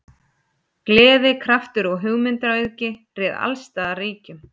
Gleði, kraftur og hugmyndaauðgi réð alls staðar ríkjum.